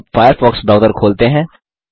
अब Firefox browser खोलते हैं